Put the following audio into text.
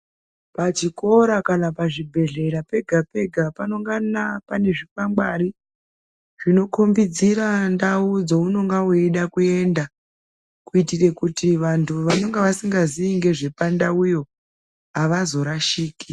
Pachikora kana pazvibhedhlera pega pega panongana pane zvikwangwari zvinokhombodzira ndau dzaunenge weida kuenda kuitire kuti vantu vanenge vasingazii ngezvepandauyo avazorashiki.